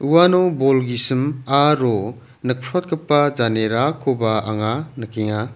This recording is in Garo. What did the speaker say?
uano bol gisim aro nikprotgipa janerakoba anga nikenga.